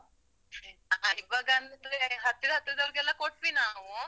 ಹ ಈವಾಗ ಅಂದ್ರೆ ಹತ್ತಿರ ಹತ್ತಿರದವ್ರಿಗೆಲ್ಲ ಕೊಟ್ವಿ ನಾವು.